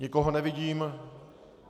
Nikoho nevidím.